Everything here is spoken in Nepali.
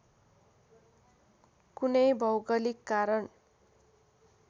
कुनै भौगोलिक कारण